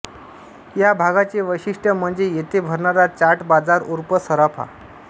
या भागाचे वैशिष्ट्य म्हणजे येथे भरणारा चाट बाजार ऊर्फ सराफा